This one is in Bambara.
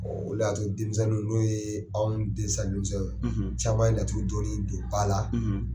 o le y'a to denmisɛnninw n'o ye anw den sisan denmisɛnw ye caman ye laturu dɔnni don ba la.